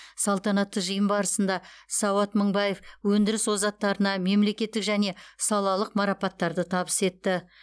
салтанатты жиын барысында сауат мыңбаев өндіріс озаттарына мемлекеттік және салалық марапаттарды табыс етті